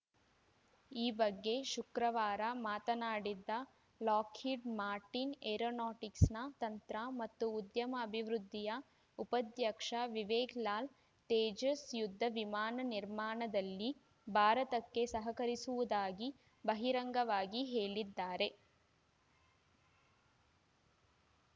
ಈ ಬಗ್ಗೆ ಶುಕ್ರವಾರ ಮಾತನಾಡಿದ ಲಾಕ್‌ಹೀಡ್‌ ಮಾರ್ಟಿನ್‌ ಏರೋನಾಟಿಕ್ಸ್‌ನ ತಂತ್ರ ಮತ್ತು ಉದ್ಯಮ ಅಭಿವೃದ್ಧಿಯ ಉಪಾಧ್ಯಕ್ಷ ವಿವೇಕ್‌ ಲಾಲ್‌ ತೇಜಸ್‌ ಯುದ್ಧ ವಿಮಾನ ನಿರ್ಮಾಣದಲ್ಲಿ ಭಾರತಕ್ಕೆ ಸಹಕರಿಸುವುದಾಗಿ ಬಹಿರಂಗವಾಗಿ ಹೇಳಿದ್ದಾರೆ